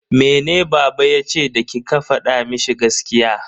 Mene baba yace da kika fada mishi gaskiya?